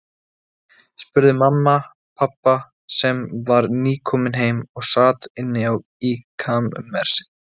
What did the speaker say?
spurði mamma pabba, sem var nýkominn heim og sat inni í kamersi.